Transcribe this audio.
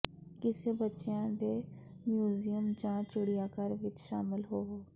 ਕਿਸੇ ਬੱਚਿਆਂ ਦੇ ਮਿਊਜ਼ੀਅਮ ਜਾਂ ਚਿੜੀਆਘਰ ਵਿੱਚ ਸ਼ਾਮਲ ਹੋਵੋ